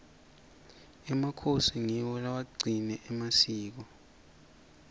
emakhosi ngiwo lewagcile emasikweni